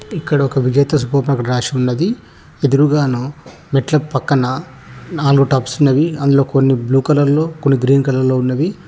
ఇక్కడొక Vijetha super market రాసి ఉన్నది ఎదురుగాను మెట్లకు పక్కన నాలుగు టబ్స్ ఉన్నవి అందులో కొన్ని బ్లూ కలర్ లో కొన్ని గ్రీన్ కలర్ లో ఉన్నవి.